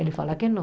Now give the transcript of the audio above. Ele fala que não.